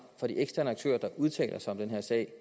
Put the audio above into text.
at de eksterne aktører der udtaler sig om den her sag